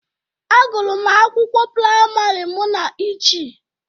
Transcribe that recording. Agụrụm akwụkwọ priamari mụ na Ichi.